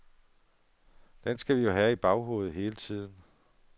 Den skal vi jo have i baghovedet hele tiden.